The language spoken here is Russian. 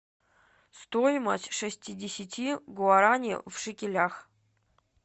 стоимость шестидесяти гуарани в шекелях